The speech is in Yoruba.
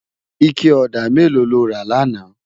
Iké òdá méló ló rá làná?